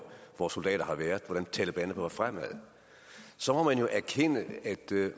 vores soldater har været og hvordan taleban er gået frem så må man jo erkende at